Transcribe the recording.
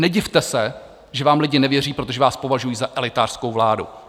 Nedivte se, že vám lidi nevěří, protože vás považují za elitářskou vládu.